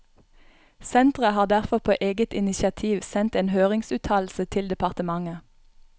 Sentret har derfor på eget initiativ sendt en høringsuttalelse til departementet.